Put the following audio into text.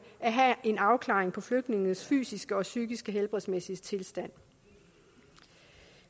at have en afklaring på flygtningenes fysiske og psykiske helbredsmæssige tilstand